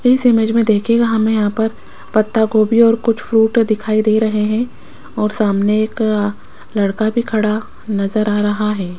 इस इमेज में देखिएगा हमें यहां पर पत्ता गोभी और कुछ फ्रूट दिखाई दे रहे हैं और सामने एक आ लड़का भी खड़ा नजर आ रहा है।